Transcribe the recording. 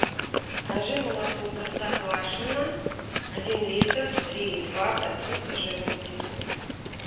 закажи молоко простоквашино один литр три и два процента жирности